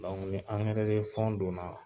angɛrɛ don na